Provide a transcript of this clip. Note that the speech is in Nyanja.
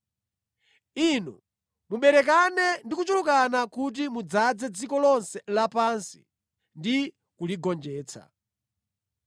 Inu muberekane ndi kuchulukana kuti mudzaze dziko lonse lapansi ndi kuligonjetsa.”